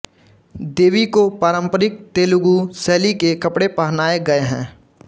देवी को पारंपरिक तेलुगु शैली के कपड़े पहनाए गए हैं